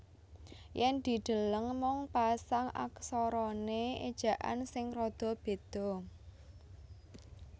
Yen dideleng mung pasang aksarane ejaan sing rada beda